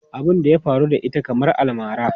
Abun da ya faru da ita kamar almara.